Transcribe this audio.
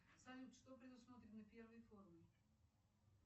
салют что предусмотрено первой формой